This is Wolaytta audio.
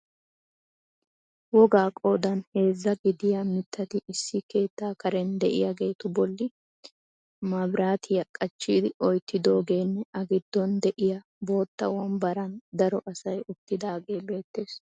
Wogga qoodan heezza gidiya mitati issi keettaa karen de'iyaageetu bolli mabirattiya qachchi oyttidoogeenne a gidon de'iya bootta wombbaran daro asay uttidaagee beettees.